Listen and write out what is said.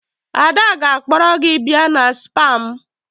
Ada ga-akpọrọ gị bịa na spaa m.